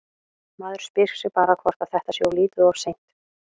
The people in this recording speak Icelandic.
Maður spyr sig bara hvort að þetta sé of lítið og of seint?